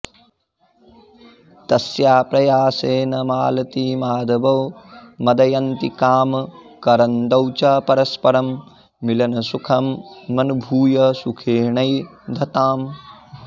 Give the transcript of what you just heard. तस्याः प्रयासेन मालतीमाधवौ मदयन्तिकामकरन्दौ च परस्परं मिलनसुखमनुभूय सुखेनैधताम्